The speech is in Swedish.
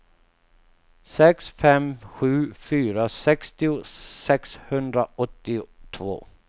sex fem sju fyra sextio sexhundraåttiotvå